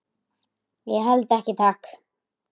Ég held ekki, takk.